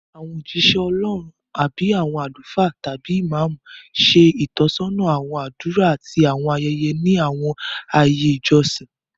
Àwọn ójíṣẹ́ Ọlọ́run, bíi àwọn àlùfáà tàbí Ìmámù, ṣe ìtọ́sọ́nà àwọn àdúrà àti àwọn ayẹyẹ ní àwọn ààyè ìjọsìn